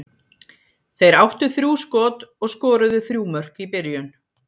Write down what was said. Þeir áttu þrjú skot og skoruðu þrjú mörk í byrjun.